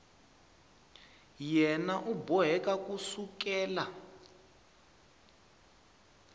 yena u boheka ku sukela